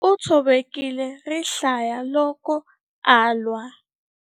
U tshovekile rihlaya loko a lwa.